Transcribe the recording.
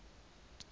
mme ho tla ya ka